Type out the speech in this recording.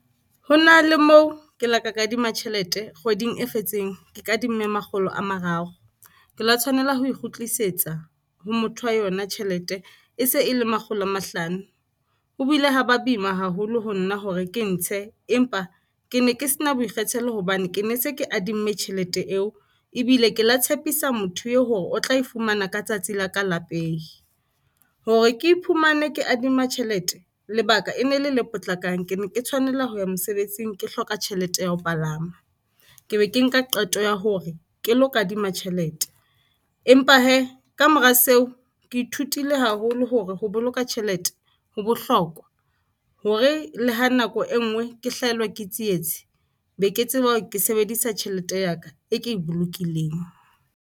Ho na le moo ke la ka kadima tjhelete kgweding e fetseng, ke ka dimme makgolo a mararo. Ke la tshwanela ho e kgutlisetsa ho motho wa yona tjhelete e se e le makgolo a mahlano. Ho bile ha ba boima haholo ho nna hore ke e ntshe. Empa ke ne ke sena boikgethelo hobane ke ne se ke a dimme tjhelete eo ebile ke la tshepisa motho eo hore o tla e fumana ka tsatsi la ka peyi, hore ke iphumane ke adima tjhelete. Lebaka e ne le le potlakang, ke ne ke tshwanela ho ya mosebetsing, ke hloka tjhelete ya ho palama ke be ke nka qeto ya hore ke lo kadima tjhelete. Empa hee ka mora seo ke ithutile haholo hore ho boloka tjhelete ho bohlokwa hore le ha nako e nngwe ke hlahelwa ke tsietsi be ke tseba ke sebedisa tjhelete ya ka e ke e bolokileng.